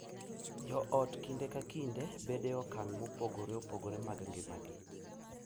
Jo ot kinde ka kinde bedo e okang’ mopogore opogore mag ngimagi,